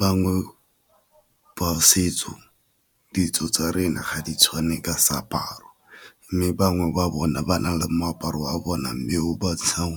Bangwe ba setso, ditso tsa rena ga di tshwane ka seaparo mme bangwe ba bona ba na le moaparo a bona mme o ba